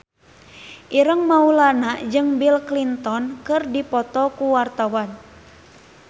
Ireng Maulana jeung Bill Clinton keur dipoto ku wartawan